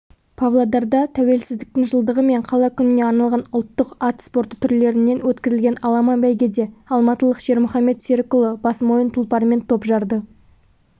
павлодарда тәуелсіздіктің жылдығы мен қала күніне арналған ұлттық ат спорты түрлерінен өткізілген аламан бәйгеде алматылық шермұхамед серікұлы босмойын тұлпарымен топ жарды